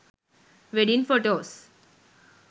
wedding photos